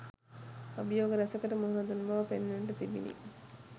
අභියෝග රැසකට මුහුණ දුන් බව පෙනෙන්නට තිබිණි